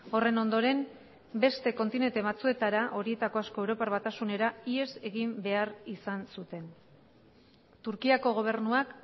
horren ondoren beste kontinente batzuetara horietako asko europar batasunera ihes egin behar izan zuten turkiako gobernuak